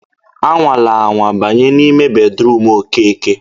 A nwana anwa banye n'ime bedruum Okeke!